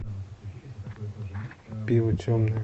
пиво темное